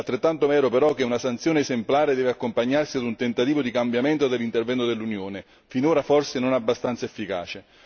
È altrettanto vero però che una sanzione esemplare deve accompagnarsi ad un tentativo di cambiamento dell'intervento dell'Unione, finora forse non abbastanza efficace.